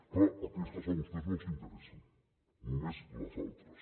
clar aquestes a vostès no els interessen només les altres